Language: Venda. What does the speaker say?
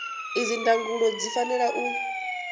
idzi ndangulo zwi fanela u